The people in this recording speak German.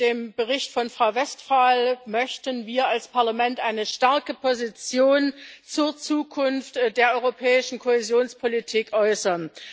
Mit dem Bericht von Frau Westphal möchten wir als Parlament eine starke Position zur Zukunft der europäischen Kohäsionspolitik äußern.